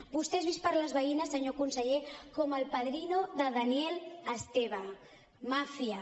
vostè és vist per les veïnes senyor conseller com el padrino de daniel esteve màfia